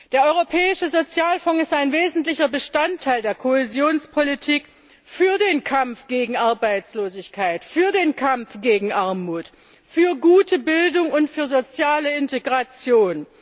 Der Europäische Sozialfonds ist ein wesentlicher Bestandteil der Kohäsionspolitik für den Kampf gegen Arbeitslosigkeit, für den Kampf gegen Armut, für gute Bildung und für soziale Integration.